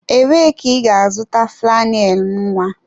Ebee ka ị ga-azụta flannel nwa?